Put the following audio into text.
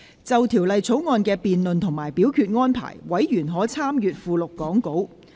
就《條例草案》的辯論及表決安排，委員可參閱講稿附錄。